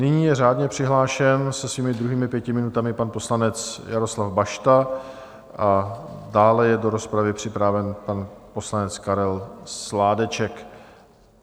Nyní je řádně přihlášen se svými druhými pěti minutami pan poslanec Jaroslav Bašta a dále je do rozpravy připraven pan poslanec Karel Sládeček.